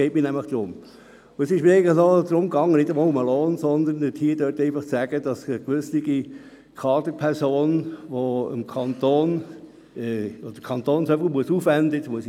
Mir ging es nicht einmal unbedingt um den Lohn, sondern darum, aufzuzeigen, dass der Kanton für gewisse Kaderpersonen viel aufwenden muss.